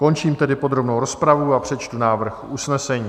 Končím tedy podrobnou rozpravu a přečtu návrh usnesení.